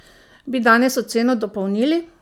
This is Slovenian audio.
Bi danes oceno dopolnili?